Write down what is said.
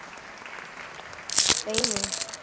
ਸਹੀ ਨੇ